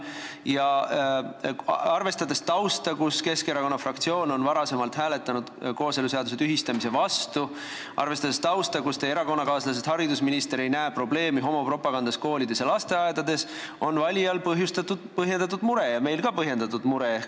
Ja arvestades tausta, et Keskerakonna fraktsioon on varem hääletanud kooseluseaduse tühistamise vastu, arvestades tausta, et teie erakonnakaaslasest haridusminister ei näe probleemi homopropagandas koolides ja lasteaedades, on valijal põhjendatud mure ja meil ka põhjendatud mure.